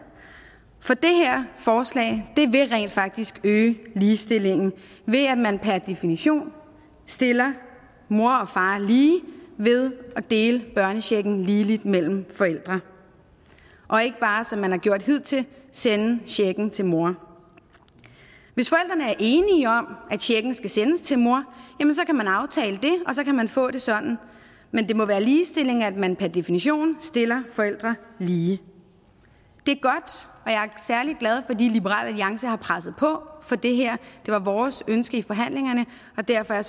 for det her forslag vil rent faktisk øge ligestillingen ved at man per definition stiller mor og far lige ved at dele børnechecken ligeligt mellem forældre og ikke bare som man har gjort hidtil sende checken til mor hvis forældrene er enige om at checken skal sendes til mor jamen så kan man aftale det og så kan man få det sådan men det må være ligestilling at man per definition stiller forældre lige det er godt og er særlig glad fordi liberal alliance har presset på for det her det var vores ønske i forhandlingerne og derfor er